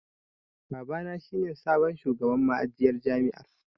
Babana shi ne sabon shugaban ma'ajiyar jami'ar.